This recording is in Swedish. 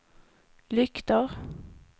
lyktor